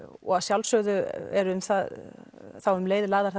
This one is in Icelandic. og að sjálfsögðu er þá um leið lagðar